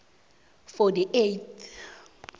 for the eight